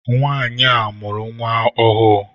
Nwanyi a mụrụ nwa ọhụụ.